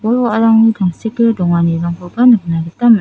bol-wa·arangni tangseke donganirangkoba nikna gita man--